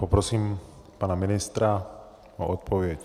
Poprosím pana ministra o odpověď.